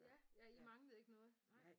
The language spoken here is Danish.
Ja ja I manglede ikke noget nej